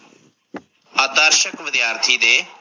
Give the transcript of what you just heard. ਆਦਰਸ਼ਕ ਵਿਦਿਆਰਥੀ ਦੇ।